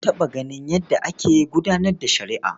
Na taɓa ganin yadda ake gudanar da shari'a.